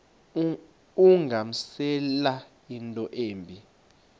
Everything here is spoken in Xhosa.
ungamenzela into embi